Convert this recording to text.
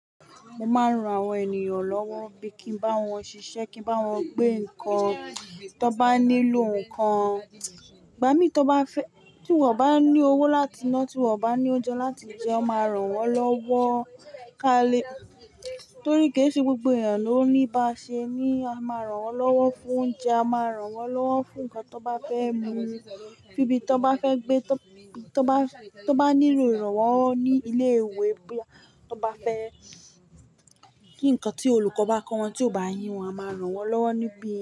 Mo máa ń ran àwọn ènìyàn lọ́wọ́ bí kí ń bá wọn ṣiṣẹ́, kí ń bá wọn gbé nǹkan, tí wọ́n bá nílò nǹkan, gbá mi tí wọ́n bá fẹ́, tí wọ́n bá ní owó láti ná, tí wọ́n bá ní oúnjẹ láti jẹ, a máa ràn wọ́n lọ́wọ́. Ka le torí kì í ṣe gbogbo ènìyàn ló níba ṣe, ní a máa ràn wọ́n lọ́wọ́ fún oúnjẹ, a máa ràn wọ́n lọ́wọ́ fún nǹkan tí wọ́n bá fẹ́ mu, nibí i tí wọ́n bá fẹ́ gbé, tí wọ́n bá, tí wọ́n bá nílò ìrànwọ́ ní ilé ìwé, bí wọ́n bá fẹ́, kí nǹkan tí olùkọ́ bá kọ wọn tí ó bá ye wọ́n, a máa ràn wọ́n lọ́wọ́ níbí.